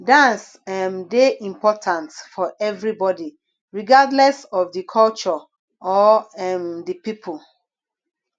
dance um dey important for everybody regardless of di culture or um di people